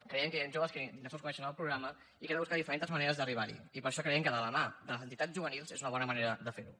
creiem que hi han joves que ni tan sols coneixen el programa i que hem de buscar diferents maneres d’arribar hi i per això creiem que de la mà de les entitats juvenils és una bona manera de fer ho